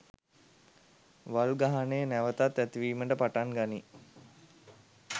වල් ගහනය නැවතත් ඇතිවීමට පටන් ගනී.